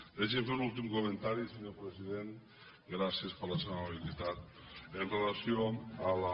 deixi’m fer un últim comentari senyor president gràcies per la seva amabilitat amb relació a la